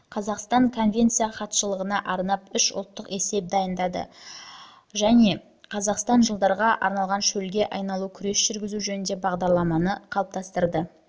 қазақстан конвенция хатшылығына арнап үш ұлттық есеп дайындады жылы жылы және жылы жылы қазақстан жылдарға арналған шөлге айналумен күрес жүргізу жөніндегі бағдарламаны